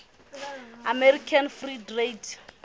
american free trade